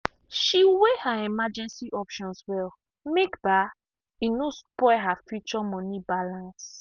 she weigh her emergency options well make um e no spoil her future money balance.